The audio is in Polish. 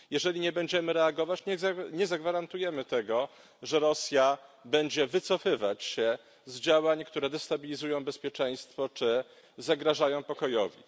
Jeżeli nie będziemy reagować, nie zagwarantujemy tego, że Rosja będzie wycofywać się z działań, które destabilizują bezpieczeństwo czy zagrażają pokojowi.